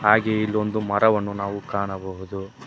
ಹಾಗೆ ಇಲ್ಲೋಂದು ಮರವನ್ನು ನಾವು ಕಾಣಬಹುದು.